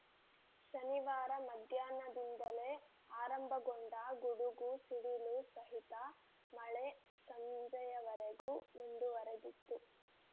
ಶನಿವಾರ ಮಧ್ಯಾಹ್ನದಿಂದಲೇ ಆರಂಭಗೊಂಡ ಗುಡುಗು ಸಿಡಿಲು ಸಹಿತ ಮಳೆ ಸಂಜೆಯವರೆಗೂ ಮುಂದುವರೆದಿತ್ತು